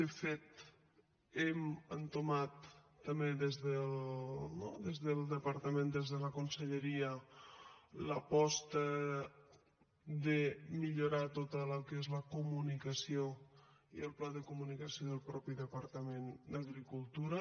de fet hem entomat no també des del departament des de la conselleria l’aposta de millorar tot el que és la comunicació i el pla de comunicació del mateix departament d’agricultura